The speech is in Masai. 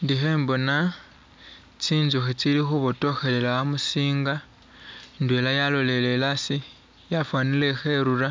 Indi khembona tsinzukhi tsili khubotokhelela amusinga, indwela yalolele asi yafwanile ikherura,